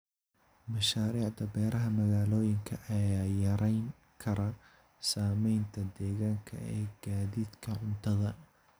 Mashaariicda beeraha magaalooyinka ayaa yarayn kara saamaynta deegaanka ee gaadiidka cuntada.